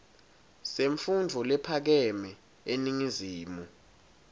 semfundvo lephakeme eningizimu